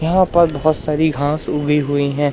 यहां पर बहोत सारी घांस उगी हुई हैं।